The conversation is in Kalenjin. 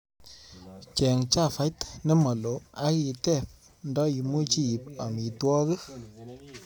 Cheng chavait nemalo ak iteep nda imuchi iip amitwogik